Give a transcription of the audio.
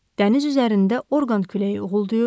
Dəniz üzərində orqan küləyi uğuldayır.